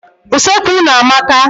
Useekwu unu amaka.